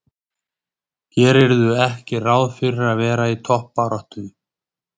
Gerirðu ekki ráð fyrir að verða í toppbaráttu?